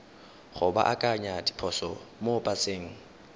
go baakanya diphoso mo paseng